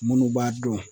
Minnu b'a dɔn